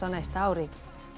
á næsta ári